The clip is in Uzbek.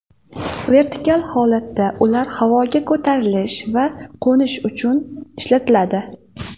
Vertikal holatda ular havoga ko‘tarilish va qo‘nish uchun ishlatiladi.